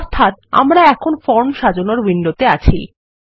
অর্থাত আমরা এখন ফর্ম সাজানোরউইন্ডোতে আছি